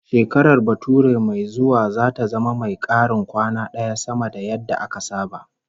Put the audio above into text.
Shekarar bature mai zuwa zata zama mai karin kwana daya sama da yadda aka saba